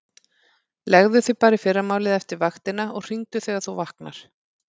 Leggðu þig bara í fyrramálið eftir vaktina og hringdu þegar þú vaknar.